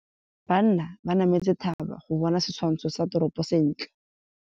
Banna ba nametse thaba go bona setshwantsho sa toropô sentle.